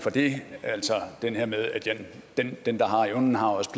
for det altså det her med at den der har evnen også